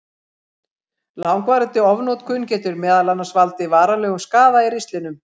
Langvarandi ofnotkun getur meðal annars valdið varanlegum skaða í ristlinum.